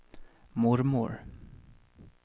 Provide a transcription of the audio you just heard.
mormor